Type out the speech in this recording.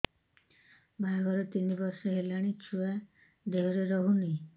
ବାହାଘର ତିନି ବର୍ଷ ହେଲାଣି ଛୁଆ ଦେହରେ ରହୁନି